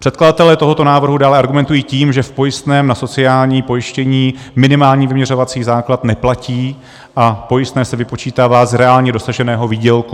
Předkladatelé tohoto návrhu dále argumentují tím, že v pojistném na sociální pojištění minimální vyměřovací základ neplatí a pojistné se vypočítává z reálně dosaženého výdělku.